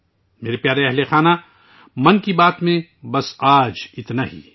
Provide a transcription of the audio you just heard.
میرے پیارے اہلِ خانہ، آج من کی بات میں میرے پاس کہنے کو بس یہی ہے